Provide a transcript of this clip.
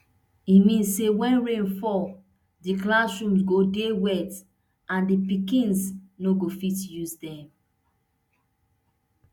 e mean say wen rain fall di classrooms go dey wet and di pikins no go fit use dem